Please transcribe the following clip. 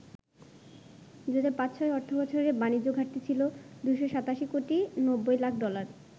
২০০৫-০৬ অর্থবছরে বাণিজ্য ঘাটতি ছিল ২৮৭ কোটি ৯০ লাখ ডলার।